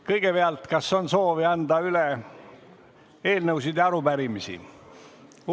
Kõigepealt, kas on soovi anda üle eelnõusid ja arupärimisi?